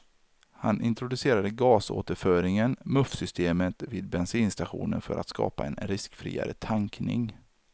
Han introducerade gasåterföringen, muffsystemet, vid bensinstationer för att skapa en riskfriare tankning.